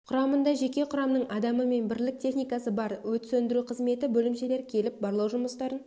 құрамында жеке құрамның адамы мен бірлік техникасы бар өрт сөндіру қызметі бөлімшелері келіп барлау жұмыстарын